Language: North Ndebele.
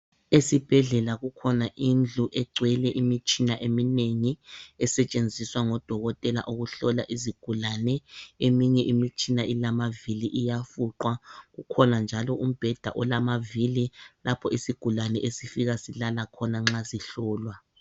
Esibhedlela kukhona indlu egcwele imitshina eminengi esetshenziswa ngodokotela ukuhlola izigulane, eminye imitshina ilama vili iyafuqwa kukhona njalo umbheda olamavili lapho isigulane esifika silala khona nxa sihlolwa.